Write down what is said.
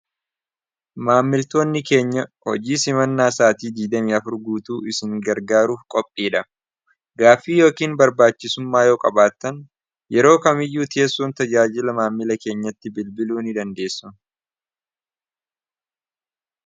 maammiltoonni keenya hojii simannaa isaatii 2 4 guutuu isin gargaaruuf qophii dha gaafii yookiin barbaachisummaa yoo qabaattan yeroo kamiyyuu tieessuun tajaajila maammila keenyatti bilbiluu ni dandeessu